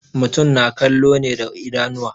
Mutum na kallo ne da idanuwa.